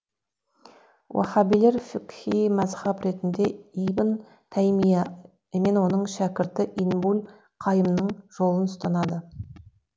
уаһабилер фиқһи мәзһаб ретінде ибн тәймия мен оның шәкірті ибнуль қайымның жолын ұстанады